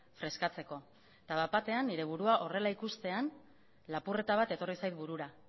freskatzeko eta bat batean nire burua horrela ikustean lapurreta bat etorri zait burura